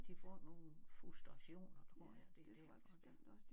De får nogle frustrationer tror jeg det derfor det